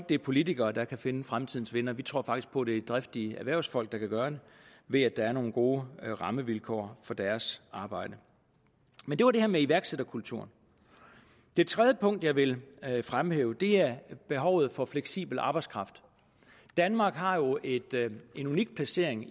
det er politikere der kan finde fremtidens vindere vi tror faktisk på at det er driftige erhvervsfolk der kan gøre det ved at der er nogle gode rammevilkår for deres arbejde det var det her med iværksætterkulturen det tredje punkt jeg vil fremhæve er behovet for fleksibel arbejdskraft danmark har jo en unik placering